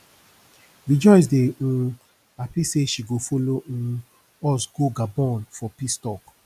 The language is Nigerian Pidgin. rejoice dey um happy say she go follow um us go gabon for peace talk